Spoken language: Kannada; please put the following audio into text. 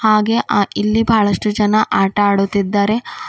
ಹಾಗೆ ಆ ಇಲ್ಲಿ ಬಹಳಷ್ಟು ಜನ ಆಟ ಆಡುತ್ತಿದ್ದಾರೆ.